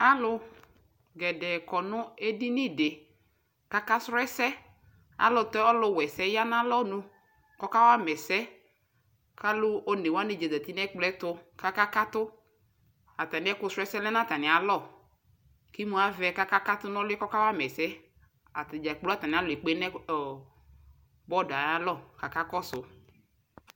Alu gɛdɛɛ dɛ kɔ nu edini di kaka srɔɔ ɛsɛ Ayɛlutɛ ɔluwa ɛsɛɛ ya nu alɔnʋ kɔka wa mɛsɛɛ kalʋ onewani zati nɛkplɔɛtu kaka katu Ataniɛkʋ srɔɔ ɛddɛɛ lɛ nʋ atanialɔ kimuavɛ kakakatu nɔluɛɛ kɔkawama ɛsɛyɛatadʒa kplo atamialɔɛ ekpe atanialɔkaka kɔsu